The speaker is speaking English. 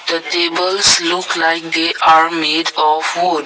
the tables look like they are made of wood.